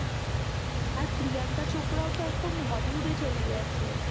আর প্রিয়াঙ্কা চোপড়াও তো এখন hollywood এ চলে গেছে।